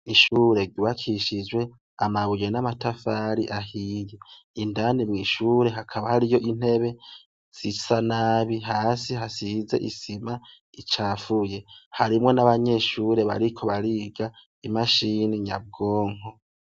Mu kigo c'amashuri yisumbuye, ariko inyubako yubatse neza cane yubakishije amatafarahiye ifize n'iranga iryera ikabifise ikibaho cirabura kikaba kiriko ibipapuro yerekana ivyo abanyeshure bigwa hariho n'amabwiriza y'ikigo.